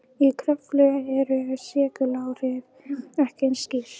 Í Kröflu eru seguláhrifin ekki eins skýr.